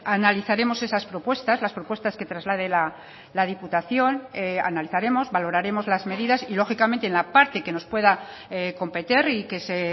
analizaremos esas propuestas las propuestas que traslade la diputación analizaremos valoraremos las medidas y lógicamente en la parte que nos pueda competer y que se